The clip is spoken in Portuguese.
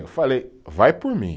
Eu falei, vai por mim.